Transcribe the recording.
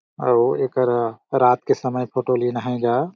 अऊ एकर रात के समय फोटो लिन है गा।